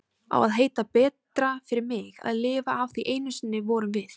Á að heita betra fyrir mig að lifa af því einu sinni vorum við?